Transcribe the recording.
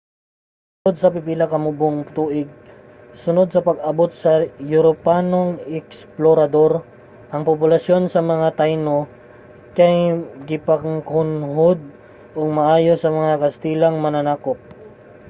sulod sa pipila ka mubong tuig sunod sa pag-abot sa mga europanong eksplorador ang populasyon sa mga taino kay gipakunhod og maayo sa mga kastilang mananakop